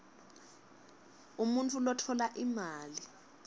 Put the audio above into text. umuntfu lotfola imali